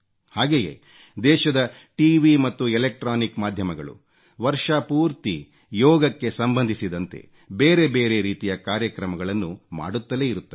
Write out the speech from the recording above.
ಹಾಗೆಯೇ ದೇಶದ ಖಿಗಿ ಮತ್ತು ಇಲೆಕ್ಟ್ರಾನಿಕ್ ಮಾಧ್ಯಮಗಳು ವರ್ಷಪೂರ್ತಿ ಯೋಗಕ್ಕೆ ಸಂಬಂಧಿಸಿದಂತೆ ಬೇರೆ ಬೇರೆ ರೀತಿಯ ಕಾರ್ಯಕ್ರಮಗಳನ್ನು ಮಾಡುತ್ತಲೇ ಇರುತ್ತವೆ